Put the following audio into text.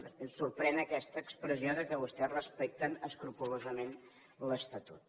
després sorprèn aquesta expressió que vostès respecten escrupolosament l’estatut